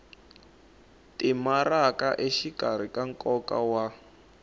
timaraka exikarhi ka nkoka wa